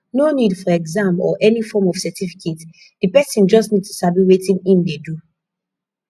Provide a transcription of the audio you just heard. no need for exam or any form of certificate di person just need to sabi wetin im de do